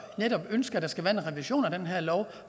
netop ønsker at der skal være en revision af den her lov